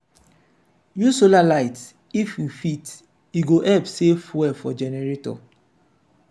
use solar light if you fit e go help save fuel for generator.